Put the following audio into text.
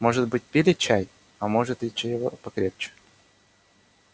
может быть пили чай а может и чего покрепче